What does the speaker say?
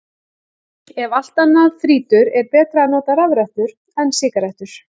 Ef allt annað þrýtur, er betra að nota rafrettur en sígarettur.